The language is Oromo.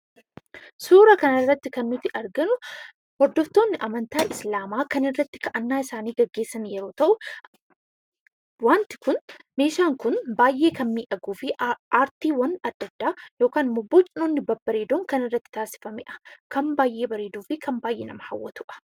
Suuraa kanarratti kan nuti arginu hordoftoonni amantaa Islaamaa kan irratti kadhannaa dhiyeessan yommuu ta'u, meeshaan kun baay'ee kan miidhaguu fi aartiiwwan adda addaa bocoonni babbareedoon kan irratti taasifamedha. Kan baay'ee bareeduu fi kan baay'ee nama hawwatudha.